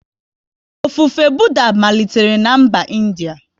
Ofufe Budha malitere na mba India